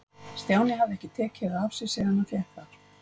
Stjáni hafði ekki tekið það af sér síðan hann fékk það.